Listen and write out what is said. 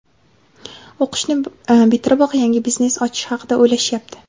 o‘qishni bitiriboq yangi biznes ochish haqida o‘ylashyapti.